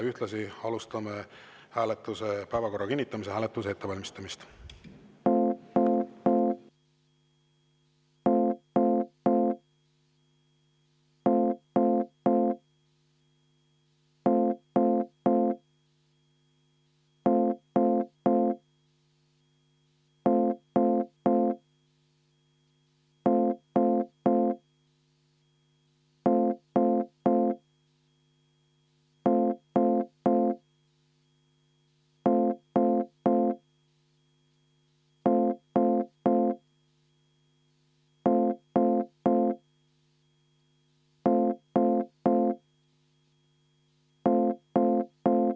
Ühtlasi alustame päevakorra kinnitamise hääletuse ettevalmistamist.